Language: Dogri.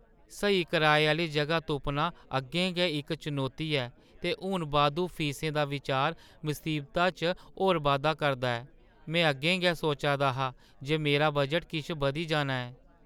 स्हेई कराए आह्‌ली जगह तुप्पना अग्गें गै इक चुनौती ऐ, ते हून बाद्धू फीसें दा बिचार मसीबता च होर बाद्धा करदा ऐ। में अग्गें गै सोचा दा हा जे मेरा बजट किश बधी जाना ऐ।